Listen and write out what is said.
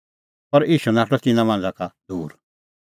पर ईशू नाठअ तिन्नां मांझ़ा का दूर